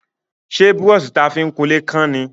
Ṣé brọ́ṣì ta fi ń kunlé kán ni?